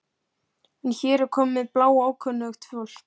Það fer um hana við þessa tilhugsun.